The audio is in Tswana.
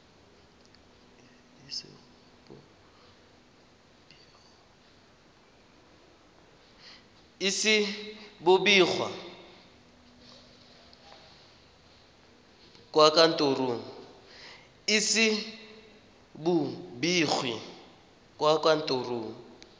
ise bo begwe kwa kantorong